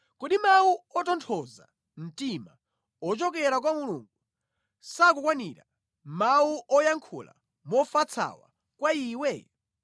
Kodi mawu otonthoza mtima ochokera kwa Mulungu sakukukwanira, mawu oyankhula mofatsawa kwa iwe?